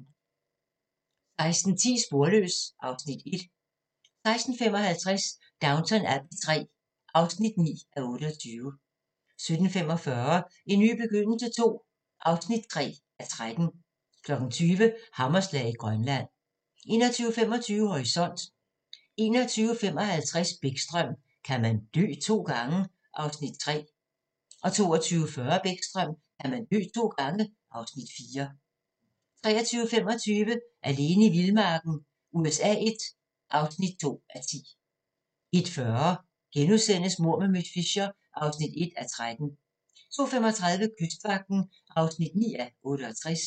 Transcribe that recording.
16:10: Sporløs (Afs. 1) 16:55: Downton Abbey III (9:28) 17:45: En ny begyndelse II (3:13) 20:00: Hammerslag i Grønland 21:25: Horisont 21:55: Bäckström: Kan man dø to gange? (Afs. 3) 22:40: Bäckström: Kan man dø to gange? (Afs. 4) 23:25: Alene i vildmarken USA I (2:10) 01:40: Mord med miss Fisher (1:13)* 02:35: Kystvagten (9:68)